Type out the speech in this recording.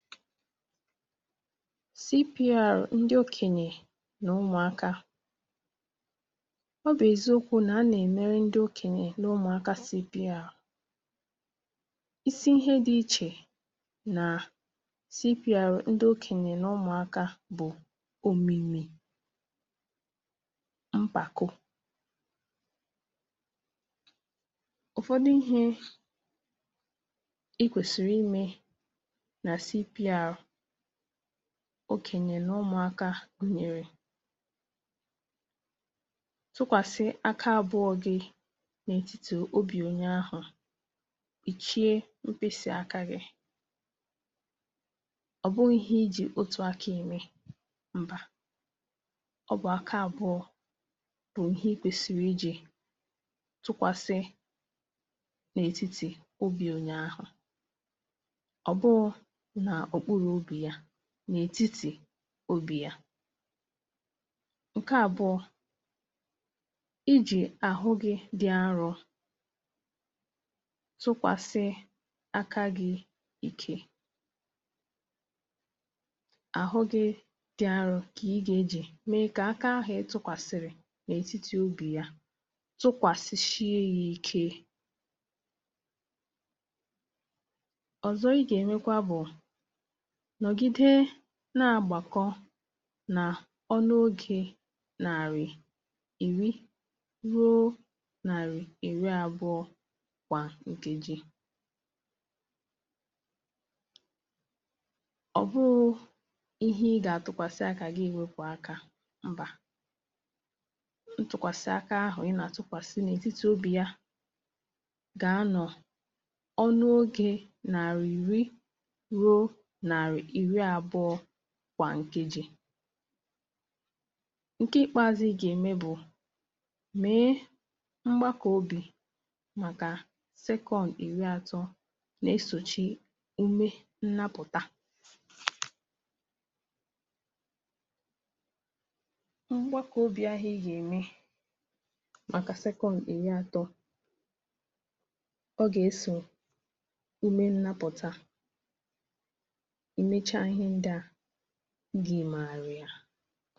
cpr ndị okènyè nà ụmụ̀akā ọ bụ̀ eziokwū nà a nà-èmere ndị okènyè nà ụmụ̀akā cpr isi ihe dị̄ ichè nà cpr ndị okènyè nà ụmụ̀akā bụ̀ òmìmì mpàko ụ̀fọdụ ihē i kwèsị̀rị̀ imē nà cpr okènyè nà ụmụ̀akā gụ̀nyèrè tụkwàsị aka àbụọ̄ gị̄ n’ètitì obì onye ahụ̀ ì chie mkpịsị akā gị̄ ọ̀ bụghị̄ ihe i jì otù akā ème mbà ọ bụ̀ aka àbụọ̄ bụ̀ ihe i kwèsìrì ijī tụkwàsị n’ètitì obī onye ahụ̀ ọ̀ bụghụ̄ n’òkpurù obì ya n’ètitì obì ya ǹke àbụọ̄ ijì àhụ gị̄ dị arụ̄ tụkwàsị aka gị̄ ike àhụ gị̄ dị arụ̄ kà ị ga-ejì mee kà aka ahụ̀ ị tụ̄kwàsị̀rị̀ n’ètitì obì ya tụkwàsịshie yā ike ọ̀zọ ị gà-èmekwa bụ̀ nọ̀gide na-agbàkọ nà ọnụ ogē nàrị̀ ìri ruo nàrị̀ ìri àbụọ̄ gbà nkeji ọ̀ bụhụ̄ ihe ị gà-àtụkwàsị̀ akā gị èwopù akā mbà ntụkwàsị aka ahụ̀ ị nà-àtụkwàsị n’ètitì obì ya gà-anọ̀ ọnụ ogē nàrị̀ ìri ruo nàrì ìri àbụọ̄ gbà nkeji ǹke ị̀kpaāzụ̄ ị gà-ème bụ̀ mèe mgbakọ̀ obì màkà second ìri ātọ̄ nà-esòchi ume nnapụ̀ta mgbakọ̀ obì ahụ̀ ị gà-ème màkà second ìri ātọ̄ ọ gà-esò ume nnapụ̀ta ị mecha ihe ndị à gị màrà ya